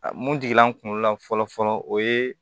Mun digila n kunkolo la fɔlɔ fɔlɔ o ye